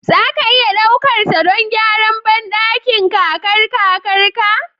Za a iya ɗaukar ta don gyaran bandakin kakar kakarta?